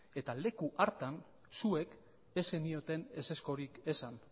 eta leku hartan zuek ez zenioten ezezkorik esan